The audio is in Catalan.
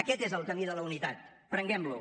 aquest és el camí de la unitat prenguem lo